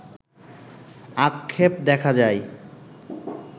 আক্ষেপে দেখা যায়